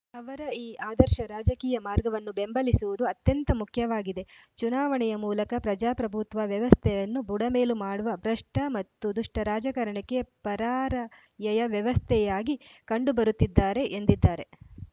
ಅವರ ಈ ಆದರ್ಶ ರಾಜಕೀಯ ಮಾರ್ಗವನ್ನು ಬೆಂಬಲಿಸುವುದು ಅತ್ಯಂತ ಮುಖ್ಯವಾಗಿದೆ ಚುನಾವಣೆಯ ಮೂಲಕ ಪ್ರಜಾಪ್ರಭುತ್ವ ವ್ಯವಸ್ಥೆಯನ್ನು ಬುಡಮೇಲು ಮಾಡುವ ಭ್ರಷ್ಟಮತ್ತು ದುಷ್ಟರಾಜಕಾರಣಕ್ಕೆ ಪರಾರ‍ಯಯ ವ್ಯವಸ್ಥೆಯಾಗಿ ಕಂಡು ಬರುತ್ತಿದ್ದಾರೆ ಎಂದಿದ್ದಾರೆ